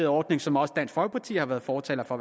ordning som også dansk folkeparti har været fortalere for